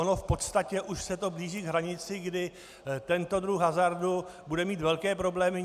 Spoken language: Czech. Ono v podstatě už se to blíží k hranici, kdy tento druh hazardu bude mít velké problémy.